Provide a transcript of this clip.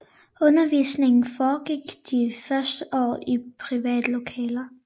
Undervisningen foregik de første år i private lokaler